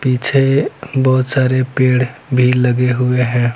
पीछे बहुत सारे पेड़ भी लगे हुए है।